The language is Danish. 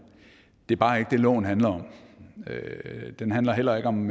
det er bare ikke det loven handler om den handler heller ikke om